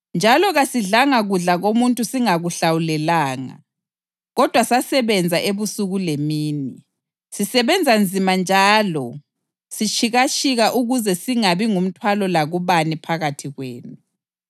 njalo kasidlanga kudla komuntu singakuhlawulelanga. Kodwa sasebenza ebusuku lemini, sisebenza nzima njalo sitshikatshika ukuze singabi ngumthwalo lakubani phakathi kwenu.